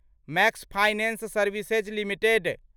max finance services limited